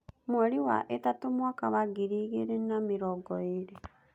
Mweri wa ĩtatũmwaka wa ngiri igĩrĩ na mĩrongo ĩrĩ.